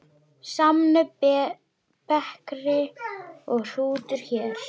Samnöfn bekri og hrútur hér.